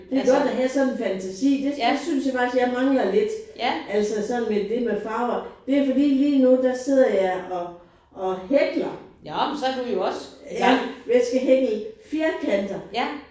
Det godt at have sådan en fantasi. Det det synes jeg faktisk jeg mangler lidt. Altså sådan med det med farver. Det fordi lige nu der sidder jeg og og hækler ja jeg skal hækle firkanter